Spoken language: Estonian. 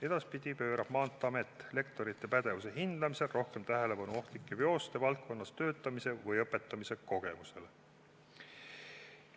Edaspidi pöörab Maanteeamet lektorite pädevuse hindamisel rohkem tähelepanu ohtlike veoste valdkonnas töötamise või õpetamise kogemustele.